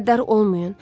Qəddar olmayın.